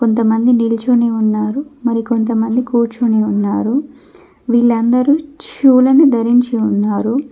కొంతమంది నిలుచునే ఉన్నారు మరి కొంతమంది కూర్చుని ఉన్నారు వీళ్ళందరూ షూ లను ధరించి ఉన్నారు.